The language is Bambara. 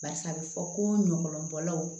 Barisa a bɛ fɔ ko ɲɔlɔnbɔlaw